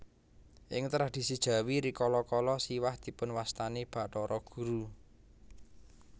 Ing tradhisi Jawi rikala kala Siwah dipunwastani Bathara Guru